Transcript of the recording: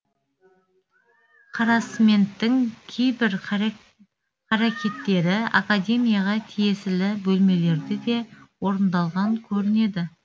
харассменттің кейбір қарекеттері академияға тиесілі бөлмелерде де орындалған көрінеді